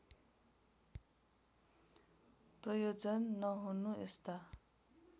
प्रयोजन नहुनु यस्ता